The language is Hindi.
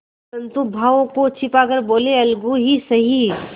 परंतु भावों को छिपा कर बोलेअलगू ही सही